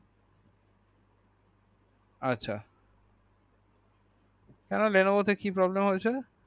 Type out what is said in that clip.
আচ্ছা কেন Levono তে কি problem হয়েছে